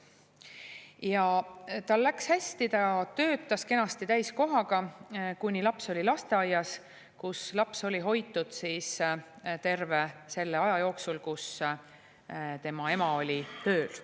Ja tal läks hästi: ta töötas kenasti täiskohaga, kuni laps oli lasteaias, kus laps oli hoitud terve selle aja jooksul, kui tema ema oli tööl.